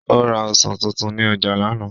Ó ra ọsàn tuntun ní ọjà lánàá.